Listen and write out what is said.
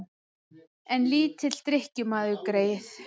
En lítill drykkjumaður, greyið.